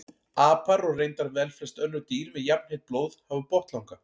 Apar og reyndar velflest önnur dýr með jafnheitt blóð hafa botnlanga.